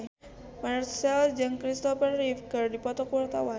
Marchell jeung Christopher Reeve keur dipoto ku wartawan